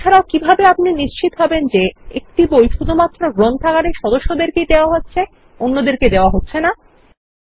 এছাড়াও কিভাবে আপনি নিশ্চিত হবেন যে একটি বই শুধুমাত্র গ্রন্থাগারের সদস্যদের দেওয়া হচ্ছে অন্যদেরকে দেওয়া হচ্ছে না160